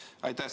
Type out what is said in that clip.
Aitäh!